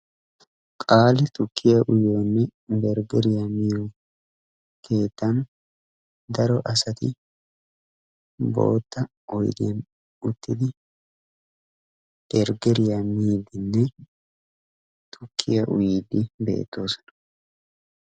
Qali tukkiyaa uyiyonebergeriyaa miyo keettan daro asati boottaa oydiyan uttidi bergeriyaa miiddine tukkiyaa uyidi beettoosona.